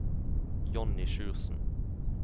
Johnny Sjursen